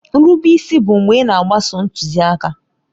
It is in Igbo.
Nrube isi bụ mgbe ị na-agbaso ntuziaka.